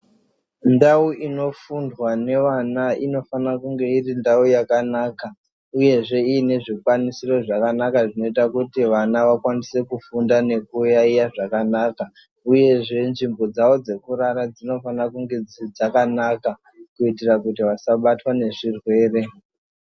Ndau inofundwa nevana inofana kunge iri ndau yakanaka uyezve iine zvikwanisiro zvakanaka zvinoita kuti vana vakwanise kufunda nekuyaiya zvakanaka uyezve nzvimbo dzavo dzekurara dzinofana kunge dzakanaka kuitira kuti vasabatwa ngezvirwere.